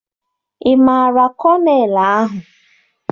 Ị maara kọnel ahụ?